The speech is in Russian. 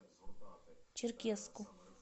черкесску